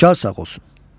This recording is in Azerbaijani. Xodkar sağ olsun.